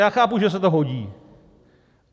Já chápu, že se to hodí.